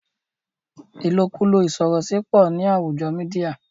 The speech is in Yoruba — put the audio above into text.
ilokulo isorosi pọ ní àwùjo mìdia